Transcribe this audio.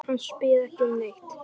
Hann spyr ekki um neitt.